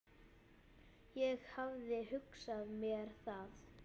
Ég hafði hugsað mér það.